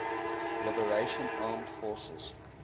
liberation armed forces